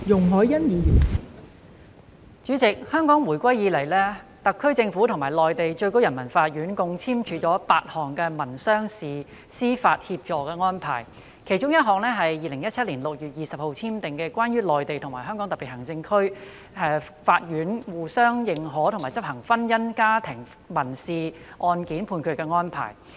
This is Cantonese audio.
代理主席，自回歸以來，特區政府與內地最高人民法院共簽署8項民商事司法協助安排，其中一項是在2017年6月20日簽訂的《關於內地與香港特別行政區法院相互認可和執行婚姻家庭民事案件判決的安排》。